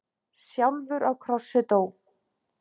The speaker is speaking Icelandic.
sjálfur á krossi dó.